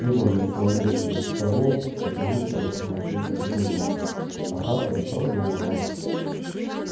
пиренн наклонился над столом чтобы лучше рассмотреть документы а хардин продолжил